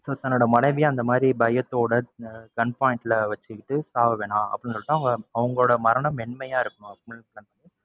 first தன்னோட மனைவிய அந்த மாதிரி பயத்தோட, அஹ் gun point ல வச்சுக்கிட்டு சாகவேணாம் அப்படின்னு சொல்லிட்டு தான் அவங்க அவங்களோட மரணம் மென்மையா இருக்கணும்.